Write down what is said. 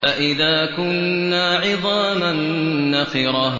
أَإِذَا كُنَّا عِظَامًا نَّخِرَةً